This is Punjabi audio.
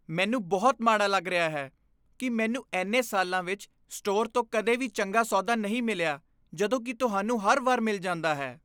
ਮੈਨੂੰ ਬਹੁਤ ਮਾੜਾ ਲੱਗ ਰਿਹਾ ਹੈ ਕਿ ਮੈਨੂੰ ਇੰਨੇ ਸਾਲਾਂ ਵਿੱਚ ਸਟੋਰ ਤੋਂ ਕਦੇ ਵੀ ਚੰਗਾ ਸੌਦਾ ਨਹੀਂ ਮਿਲਿਆ ਜਦੋਂ ਕਿ ਤੁਹਾਨੂੰ ਹਰ ਵਾਰ ਮਿਲ ਜਾਂਦਾ ਹੈ।